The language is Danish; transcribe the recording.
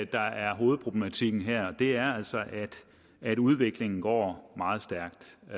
der er hovedproblematikken her det er altså at udviklingen går meget stærkt og